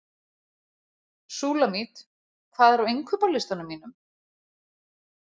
Súlamít, hvað er á innkaupalistanum mínum?